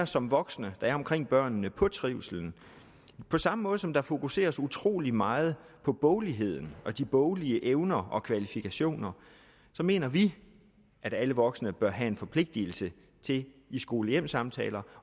som voksne der er omkring børnene på trivslen på samme måde som der fokuseres utrolig meget på bogligheden og de boglige evner og kvalifikationer mener vi at alle voksne bør have en forpligtelse til i skole hjem samtaler